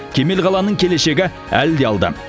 кемел қаланың келешегі әлі де алда